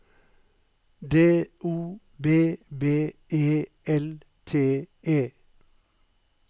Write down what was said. D O B B E L T E